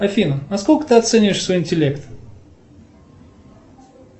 афина на сколько ты оцениваешь свой интеллект